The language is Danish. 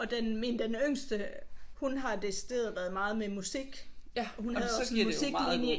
Og den min den yngste hun har decideret været meget med musik og hun havde også en musiklinje